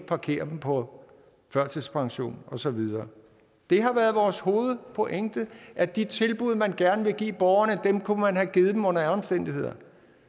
parkere dem på førtidspension og så videre det har været vores hovedpointe at de tilbud man gerne ville give borgerne kunne man have givet dem under alle omstændigheder